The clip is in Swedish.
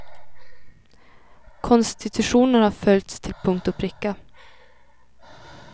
Konstitutionen har följts till punkt och pricka.